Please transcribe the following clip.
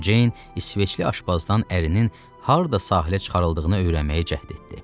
Ceyn İsveçli aşbazdan ərinin harada sahilə çıxarıldığını öyrənməyə cəhd etdi.